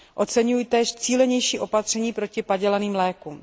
Oceňuji též cílenější opatření proti padělaným lékům.